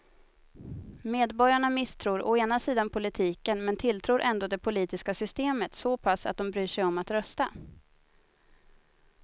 Medborgarna misstror å ena sidan politiken men tilltror ändå det politiska systemet så pass att de bryr sig om att rösta.